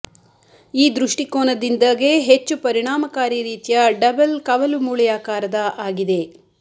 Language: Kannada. ಈ ದೃಷ್ಟಿಕೋನದಿಂದ ಗೆ ಹೆಚ್ಚು ಪರಿಣಾಮಕಾರಿ ರೀತಿಯ ಡಬಲ್ ಕವಲುಮೂಳೆಯಾಕಾರದ ಆಗಿದೆ